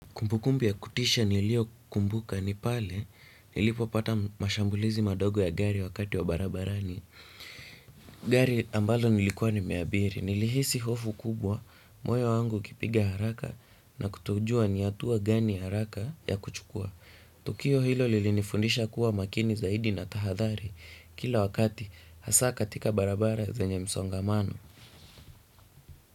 Kumbukumbu ya kutisha nilio kumbuka ni pale nilipopata mashambulizi madogo ya gari wakati wa barabarani. Gari ambalo nilikuwa nimeabiri nilihisi hofu kubwa moyo wangu ukipiga haraka na kutojua ni hatua gani haraka ya kuchukua. Tukio hilo lilinifundisha kuwa makini zaidi na tahathari kila wakati hasaa katika barabara za zenye msongamano.